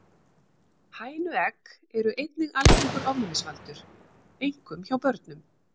Hænuegg eru einnig algengur ofnæmisvaldur, einkum hjá börnum.